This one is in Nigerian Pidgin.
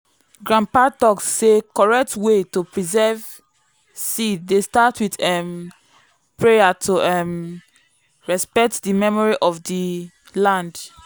grandpa talk say correct way to preserve seed dey start with um prayer to um respect the memory of the land.